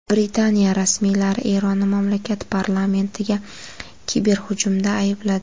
Britaniya rasmiylari Eronni mamlakat parlamentiga kiberhujumda aybladi.